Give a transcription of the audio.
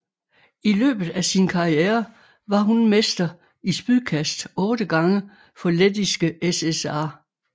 I løbet af sin karriere var hun mester i spydkast otte gange for Lettiske SSR